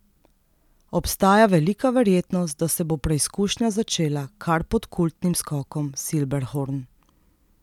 Obstaja velika verjetnost, da se bo preizkušnja začela kar pod kultnim skokom Silberhorn.